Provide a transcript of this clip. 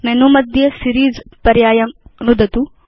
menu मध्ये series पर्यायं नुदतु